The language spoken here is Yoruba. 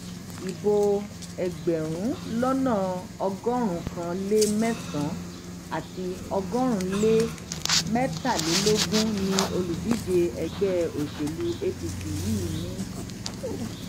ibo ẹgbẹrún lọnà ọgọrùnún kan lé mẹsànán àti ọgọrin lé mẹtàlélógún ni olùdíje ẹgbẹ òṣèlú apc yìí ní